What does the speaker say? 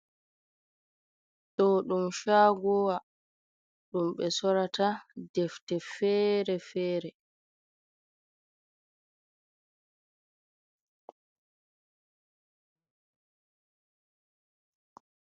Ɗo ɗum chago wa, ɗum ɓe sorata defte fere fere.